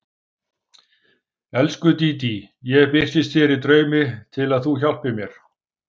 Elsku Dídí, ég birtist þér í draumi til að þú hjálpir mér.